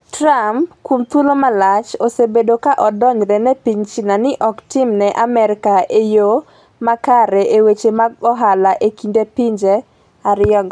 Mr. Trump kuom thuolo malach osebedo ka odonjre ne piny China ni ok otimne Amerka e yo makare e weche mag ohala e kind pinje ariyo go.